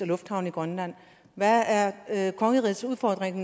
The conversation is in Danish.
lufthavne i grønland hvad er er kongerigets udfordring i